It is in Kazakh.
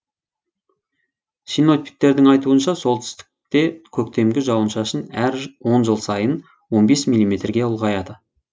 синоптиктердің айтуынша солтүстікте көктемгі жауын шашын әр он жыл сайын он бес миллиметрге ұлғаяды